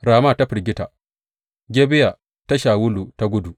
Rama ta firgita; Gibeya ta Shawulu ta gudu.